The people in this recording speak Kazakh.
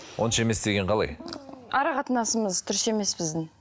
онша емес деген қалай ара қатынасымыз дұрыс емес біздің